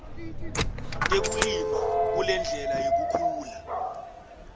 tekulima kulendlela yekukhula